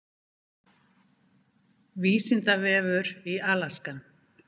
Vísindavefur í Alaska.